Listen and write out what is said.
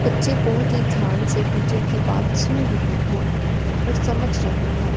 बच्चे बहोत ही ध्यान से टीचर की बात सुन रहे हैं कुछ समझ रहे हैं।